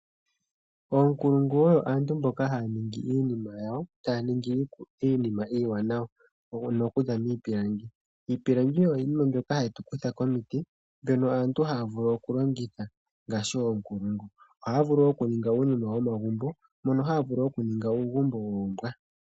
Oonkulungu oyo aantu mboka haya ningi iinima yawo, taya ningi iinima iiwanawa ano okuza miipilangi. Iipilangi oyo iinima mbyoka hatu kutha komiti, mbyono aantu haya vulu okulongitha ngaashi oonkulungu. Ohaya vulu wo okuninga uunima womagumbo, mono haya vulu okuninga uugumbo woombwa.